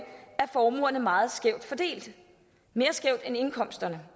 er formuerne meget skævt fordelt mere skævt end indkomsterne